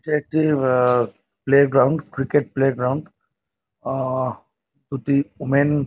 এটা একটি a playground cricket playground ah দুটি ওমেন --